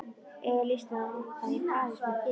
Eiga lýsnar að hoppa í parís með þér?